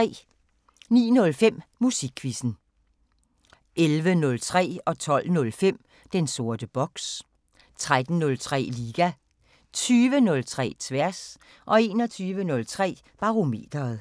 09:05: Musikquizzen 11:03: Den sorte boks 12:05: Den sorte boks 13:03: Liga 20:03: Tværs 21:03: Barometeret